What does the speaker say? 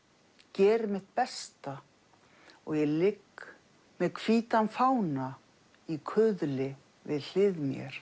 geri mitt besta og ég ligg með hvítan fána í kuðli við hlið mér